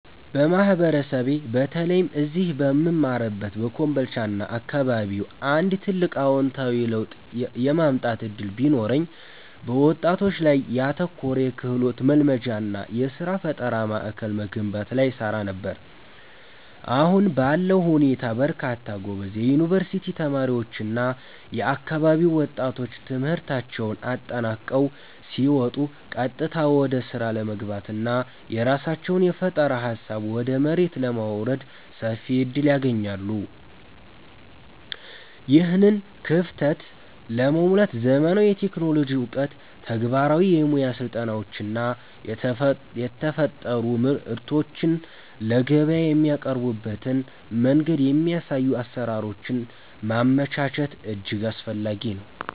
በማህበረሰቤ በተለይም እዚህ በምማርበት በኮምቦልቻና አካባቢው አንድ ትልቅ አዎንታዊ ለውጥ የማምጣት ዕድል ቢኖረኝ፣ በወጣቶች ላይ ያተኮረ የክህሎት ማልማጃና የሥራ ፈጠራ ማዕከል መገንባት ላይ እሰራ ነበር። አሁን ባለው ሁኔታ በርካታ ጎበዝ የዩኒቨርሲቲ ተማሪዎችና የአካባቢው ወጣቶች ትምህርታቸውን አጠናቀው ሲወጡ ቀጥታ ወደ ሥራ ለመግባትና የራሳቸውን የፈጠራ ሃሳብ ወደ መሬት ለማውረድ ሰፊ ዕድል አያገኙም። ይህንን ክፍተት ለመሙላት ዘመናዊ የቴክኖሎጂ ዕውቀት፣ ተግባራዊ የሙያ ስልጠናዎችና የተፈጠሩ ምርቶችን ለገበያ የሚያቀርቡበትን መንገድ የሚያሳዩ አሰራሮችን ማመቻቸት እጅግ አስፈላጊ ነው።